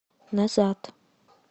назад